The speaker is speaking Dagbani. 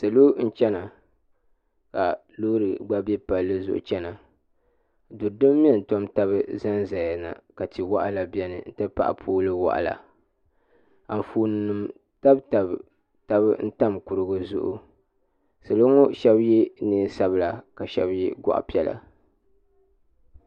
Salo n chana ka loori gba bɛ palli zuɣu chana ka mɛ n tam taba ʒɛya na ka tia waɣila biɛni n ti paho pool waɣila anfoonima tabi tabi kuriti zuɣu salo ŋo shaba yɛ neen sabila ka shaba yʋ goɣi piɛla